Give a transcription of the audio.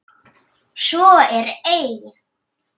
Svo er ei.